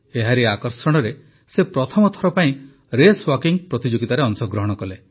ଏହାରି ଆକର୍ଷଣରେ ସେ ପ୍ରଥମ ଥର ପାଇଁ ରେସ୍ୱାକିଂ ପ୍ରତିଯୋଗିତାରେ ଅଂଶଗ୍ରହଣ କଲେ